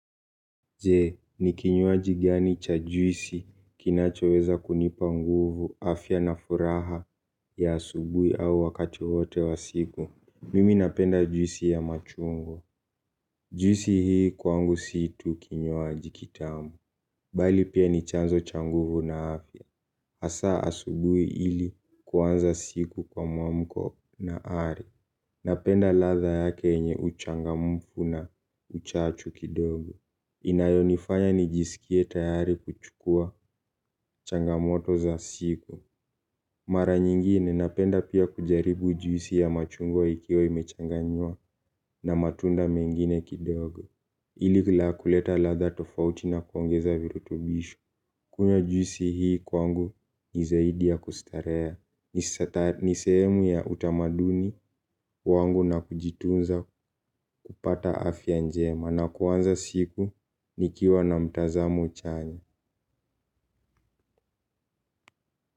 Je, ni kinywaji gani cha juisi kinachoweza kunipa nguvu afya na furaha ya asubuhi au wakati wowote wa siku. Mimi napenda juisi ya machungwa. Juisi hii kwangu si tu kinywaji kitamu. Bali pia ni chanzo cha nguvu na afya. Hasa asubuhi ili kuanza siku kwa mwamko na ari. Napenda ladha yake yenye uchangamfu na uchachu kidogo. Inayonifanya nijisikie tayari kuchukua changamoto za siku. Mara nyingine napenda pia kujaribu juisi ya machungwa ikiwa imechanganywa na matunda mengine kidogo ili la kuleta ladha tofauti na kuongeza virutubisho. Kunywa juisi hii kwangu ni zaidi ya kustarehe. Ni sehemu ya utamaduni wangu na kujitunza kupata afya njema na kuanza siku nikiwa na mtazamo chanya.